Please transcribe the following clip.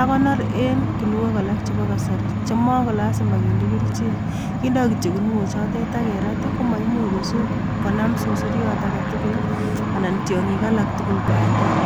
akonor en kuniok alak chebo kasari chema ko lazima kinde kerichek kindoi kityo kuniochotet akerat komaimuch ko sich konam susuriot agetugul anan tyong'ik alak tugul bandek